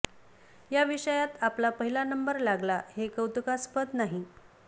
या विषयात आपला पहिला नंबर लागला हे कौतुकास्पद नाही